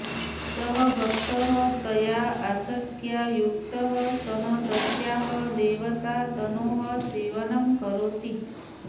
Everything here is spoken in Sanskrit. सः भक्तः तया आसक्त्या युक्तः सन् तस्याः देवतातनोः सेवनं करोति